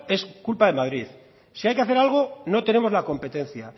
es culpa de madrid si hay que hacer algo no tenemos la competencia